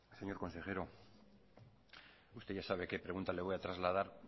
señor consejero usted ya sabe qué pregunta le voy a trasladar